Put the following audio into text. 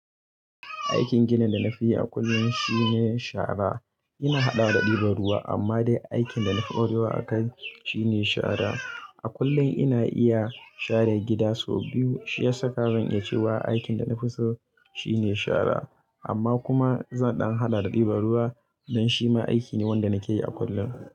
Aikin gidan da na fiyi a kullum shine shara. Ina haɗawa da ɗiban ruwa, amma dai aikin da na fi ƙwarewa a kai shine shara. A kullum ina iya share gida sau biyu Shi ya saka zan iya cewa aikin da na fi so, shine shara, amma kuma zan ɗan haɗa da ɗiban ruwa, don shi ma aiki ne wanda nake yi a kullum.